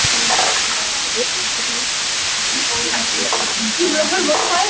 Vitiði nokkuð hvernig biskup Jón gamli á Hólum er til heilsunnar?